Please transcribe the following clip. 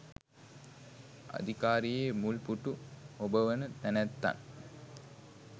අධිකාරියේ මුල් පුටු හොබවන තැනැත්තන්